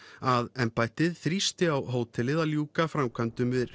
að embættið þrýsti á hótelið að ljúka framkvæmdum við